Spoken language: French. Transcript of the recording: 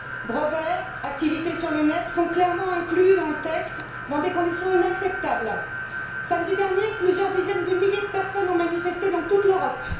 Brevets, activités sur le net sont clairement inclus dans le texte dans des conditions inacceptables. Samedi dernier, plusieurs dizaines de milliers de personnes ont manifesté dans toute l'Europe.